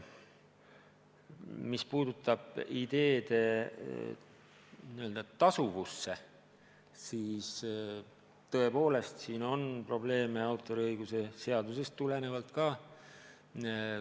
Mis puudutab ideede tasuvust, siis tõepoolest on autoriõiguse seadusest tulenevalt probleeme.